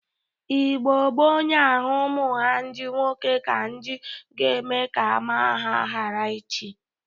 Igbo gboo na-ahụ umụ ha ndị nwoke ka ndị ga-eme ka ama ha ghara ịchị.